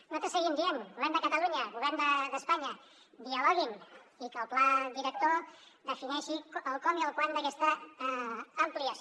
nosaltres seguim dient govern de catalunya govern d’espanya dialoguin i que el pla director defineixi el com i el quan d’aquesta ampliació